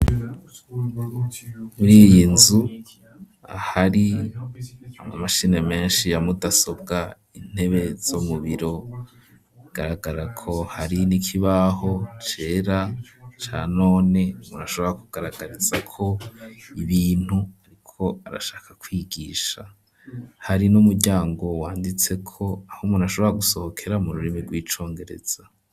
Muri iyi nzu ahari ammashini menshi yamudasobwa intebe zo mubiro agaragara ko hari n'ikibaho cera ca none murashobora kugaragarizako ibintu ariko arashaka kwigisha hari n'umuryango wanditseko aho munashobora gusohokera mu rurimi rw'icongereza.